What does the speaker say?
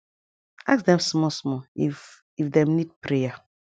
ask dem small small if if dem need prayer